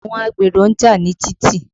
Àwọn agbèrò ń jà ní títì.